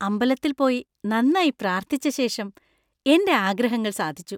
അമ്പലത്തില്‍ പോയി നന്നായി പ്രാര്‍ഥിച്ച ശേഷം എന്‍റെ ആഗ്രഹങ്ങൾ സാധിച്ചു.